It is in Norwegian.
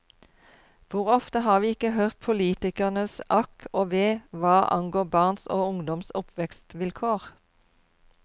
Hvor ofte har vi ikke hørt politikernes akk og ve hva angår barns og ungdoms oppvekstvilkår.